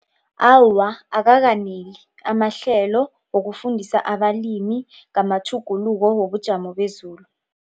Awa, akakaneli amahlelo wokufundisa abalimi ngamatjhuguluko wobujamo bezulu.